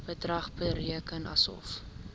bedrag bereken asof